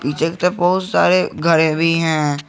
पीछे की तरफ बहुत सारे घरे भी हैं।